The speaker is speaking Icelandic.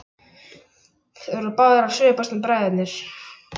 Þeir voru báðir að svipast um bræðurnir.